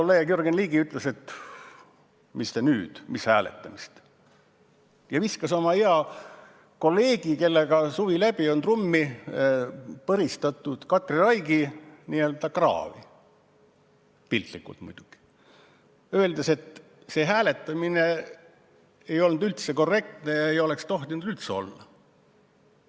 Hea kolleeg Jürgen Ligi ütles, et mis te nüüd, mis hääletamine, ja viskas oma hea kolleegi Katri Raigi, kellega oli suvi läbi trummi põristanud, n-ö kraavi – piltlikult muidugi –, öeldes, et see hääletamine ei olnud üldse korrektne ja seda poleks tohtinud üldse olla.